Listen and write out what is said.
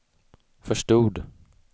förstod